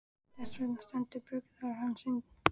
Þess vegna stendur búgarður hans enn.